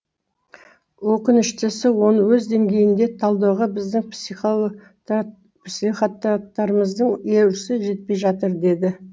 өкініштісі оны өз деңгейінде талдауға біздің психотаттарымыздың өресі жетпей жатыр деді